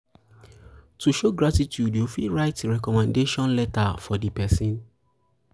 to show gratitude you fit write recommendation letter for di person